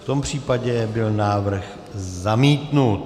V tom případě byl návrh zamítnut.